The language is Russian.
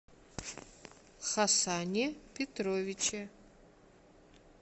хасане петровиче